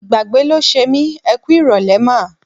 Ìgbàgbé ló ṣe mí. Ẹ kú ìrọ̀lẹ́ mà.